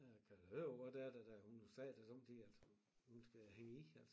Jeg kan da høre på det der da hun jo sagde da sommetider altså hun skal da hænge i altså